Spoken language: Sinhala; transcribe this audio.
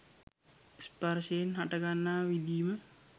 ස්පර්ශයෙන් හටගන්නා විඳීම